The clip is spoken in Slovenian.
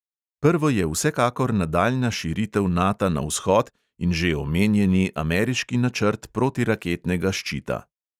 Prvo je vsekakor nadaljnja širitev nata na vzhod in že omenjeni ameriški načrt protiraketnega ščita.